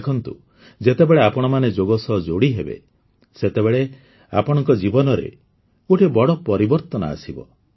ଦେଖନ୍ତୁ ଯେତେବେଳେ ଆପଣମାନେ ଯୋଗ ସହ ଯୋଡ଼ିହେବେ ସେତେବେଳେ ଆପଣଙ୍କ ଜୀବନରେ ଗୋଟିଏ ବଡ଼ ପରିବର୍ତ୍ତନ ଆସିବ